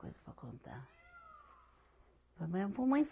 Coisa para contar.